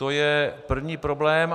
To je první problém.